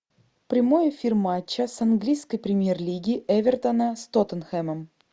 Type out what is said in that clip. прямой эфир матча с английской премьер лиги эвертона с тоттенхэмом